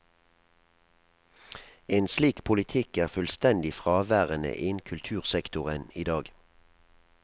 En slik politikk er fullstendig fraværende innen kultursektoren i dag.